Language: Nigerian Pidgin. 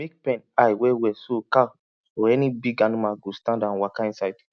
make pen high well well so cow or any big animal go stand and waka inside